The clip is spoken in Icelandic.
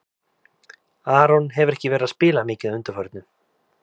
Aron hefur ekki verið að spila mikið að undanförnu.